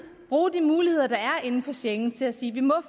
bruger de muligheder der er inden for schengen til at sige vi må